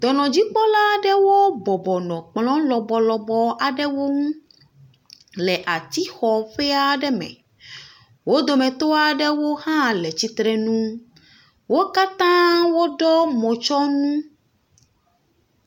Dɔnɔdzikpɔlawo bɔbɔnɔ kplɔ lɔbɔ aɖewo ŋu le ati xɔ le ati xɔ ƒe aɖe me. Wo dometɔ aɖewo hã le tsitre ŋu. Wo kata wo ɖɔ mo tsɔnu.